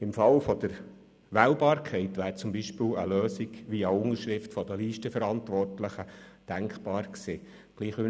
Im Fall der Wählbarkeit wäre zum Beispiel eine Lösung via Unterschrift der Listenverantwortlichen denkbar gewesen.